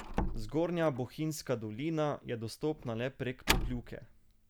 Zgornja bohinjska dolina je dostopna le prek Pokljuke.